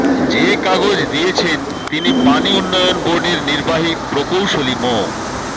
যে কাগজ দিয়েছেন তিনি পানি উন্নয়ন বোর্ডের নির্বাহী প্রকৌশলী মো